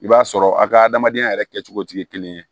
I b'a sɔrɔ a ka adamadenya yɛrɛ kɛcogo tɛ kelen ye